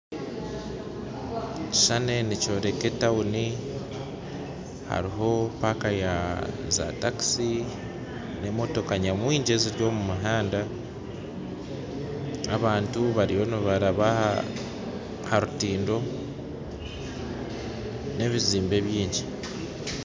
Ekishushani nikyoreka tawuni haroho paaka ya zatakisi n'emotoka nyamwingi eziri omu muhanda abantu bariyo nibaraba ha rutindo n'ebizimbe bingi